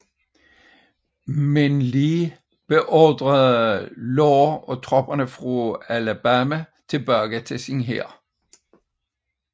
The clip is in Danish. Lee beordrede imidlertid Law og tropperne fra Alabama tilbage til sin hær